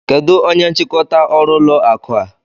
Kedụ onye nchịkọta ọrụ ụlọ akụ a?